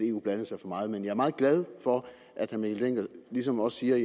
eu blandede sig for meget men jeg er meget glad for at herre mikkel dencker ligesom også siger at